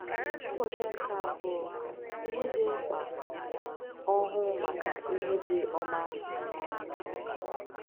Ụbọchị nke Abụọ – Ihe Dị Mkpa: Ọhụụ Maka Ihe Dị Ọma